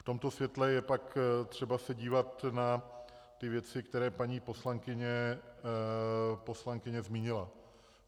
V tomto světle je pak třeba se dívat na ty věci, které paní poslankyně zmínila.